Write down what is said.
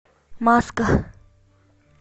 маска